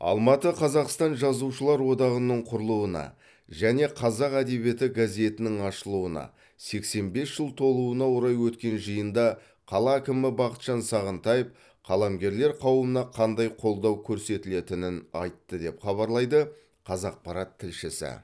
алматы қазақстан жазушылар одағының құрылуына және қазақ әдебиеті газетінің ашылуына сексен бес жыл толуына орай өткен жиында қала әкімі бақытжан сағынтаев қаламгерлер қауымына қандай қолдау көрсетілетінін айтты деп хабарлайды қазақпарат тілшісі